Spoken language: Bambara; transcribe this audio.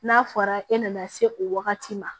N'a fɔra e nana se o wagati ma